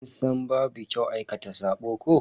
Kin san babu kyau aikata sabo ko?